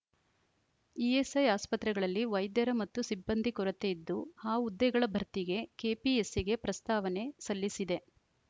ESI ಆಸ್ಪತ್ರೆಗಳಲ್ಲಿ ವೈದ್ಯರ ಮತ್ತು ಸಿಬ್ಬಂದಿ ಕೊರತೆ ಇದ್ದು ಆ ಹುದ್ದೆಗಳ ಭರ್ತಿಗೆ ಕೆಪಿಎಸ್‌ಸಿಗೆ ಪ್ರಸ್ತಾವನೆ ಸಲ್ಲಿಸಿದೆ